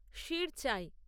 শীর চায়